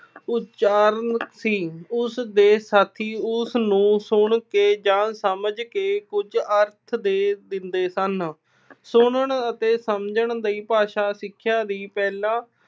ਉਚਾਰਨ ਸੀ। ਉਸਦੇ ਸਾਥੀ ਉਸਨੂੰ ਸੁਣ ਕੇ ਜਾਂ ਸਮਝ ਕੇ ਕੁਝ ਅਰਥ ਦੇ ਦਿੰਦੇ ਸਨ। ਸੁਣਨ ਅਤੇ ਸਮਝਣ ਲਈ ਭਾਸ਼ਾ, ਸਿੱਖਿਆ ਦਾ ਪਹਿਲਾ